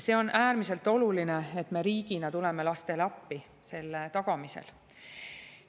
See on äärmiselt oluline, et me riigina tuleme lastele appi selle tagamisel.